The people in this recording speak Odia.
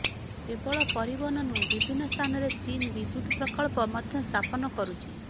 କେବଳ ପରିବହନ ନୁହେଁ ବିଭିନ୍ନ ସ୍ଥାନରେ ଚୀନ ବିଦ୍ୟୁତ୍ ପ୍ରକଳ୍ପ ମଧ୍ୟ ସ୍ଥାପନ କରୁଛି